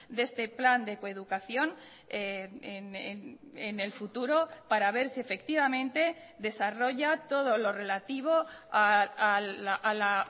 de este plan de coeducación en el futuro para ver si efectivamente desarrolla todo lo relativo a la